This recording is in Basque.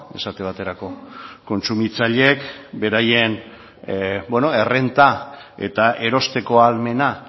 esate baterako kontsumitzaileek beraien errenta eta erosteko ahalmena